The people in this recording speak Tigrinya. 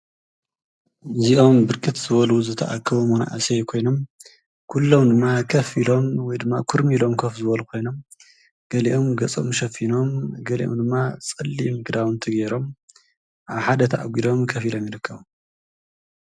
እዚኦም ብርክት ዝበሉ መናእሰይ ዝተኣከቡ ኮይኖም ኩሎም ድማ ከፍ ኢሎም ወይ ድማ ክርሙይ ኢሎም ከፍ ዝበሉ ኮይኖም ገሊኦም ገፆም ሸፊኖም ገልይኦም ድማ ፀሊም ክዳውንቲ ገይሮም ኣብ ሓደ ተኣጊዶም ከፍ ኢሎም ይርከቡ።